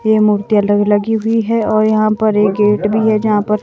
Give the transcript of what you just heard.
ये मूर्तियां लग लगी हुई है और यहां पर एक गेट भी है जहां पर--